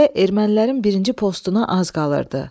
Təpəyə ermənilərin birinci postuna az qalırdı.